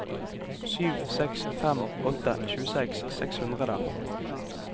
sju seks fem åtte tjueseks seks hundre